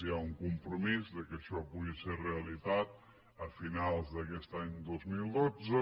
hi ha un compromís que això pugui ser realitat a finals d’aquest any dos mil dotze